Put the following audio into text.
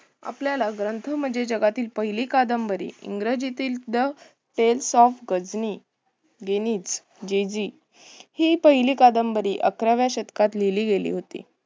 आपल्याला ग्रंथ म्हणजे जगातील पहिली कादंबरी इंग्रजीतील the tells of ghajini ginij jeji हि पहिली कादंबरी अकराव्या शतकात लिहिली गेली होती.